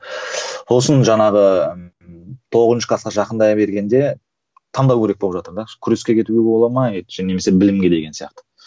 ол үшін жаңағы тоғызыншы класқа жақындай бергенде таңдау керек болып жатыр да күреске кетуге бола ма немесе білімге деген сияқты